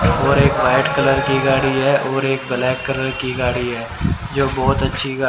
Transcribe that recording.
और एक white colour की गाड़ी है और एक ब्लैक कलर की गाड़ी है जो बहुत अच्छी गा--